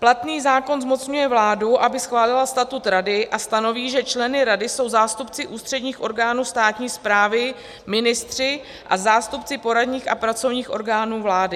Platný zákon zmocňuje vládu, aby schválila statut rady, a stanoví, že členy rady jsou zástupci ústředních orgánů státní správy, ministři a zástupci poradních a pracovních orgánů vlády.